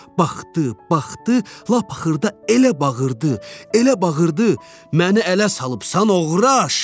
Baxdı, baxdı, lap xırda elə bağırdı, elə bağırdı: "Məni ələ salıbsan oğraş!"